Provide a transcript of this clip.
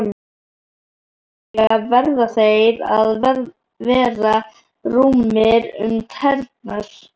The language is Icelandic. Sérstaklega verða þeir að vera rúmir um tærnar.